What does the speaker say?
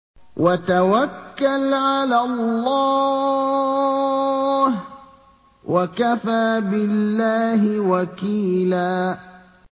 وَتَوَكَّلْ عَلَى اللَّهِ ۚ وَكَفَىٰ بِاللَّهِ وَكِيلًا